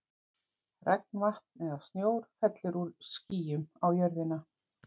Regnvatn eða snjór fellur úr skýjum á jörðina.